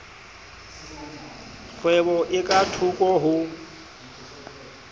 kgwebo e ka thoko ho